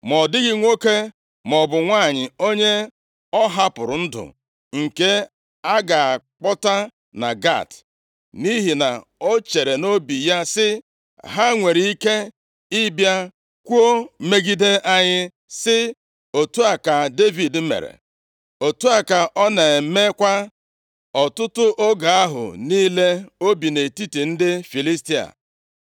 Ma ọ dịghị nwoke maọbụ nwanyị onye ọ hapụrụ ndụ, nke a ga-akpọta na Gat, nʼihi na o chere nʼobi ya sị, “Ha nwere ike ịbịa kwuo megide anyị, sị, ‘Otu a ka Devid mere.’ ” Otu a ka ọ na-emekwa ọtụtụ oge ahụ niile o bi nʼetiti ndị Filistia.